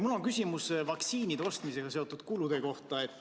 Mul on küsimus vaktsiinide ostmisega seotud kulude kohta.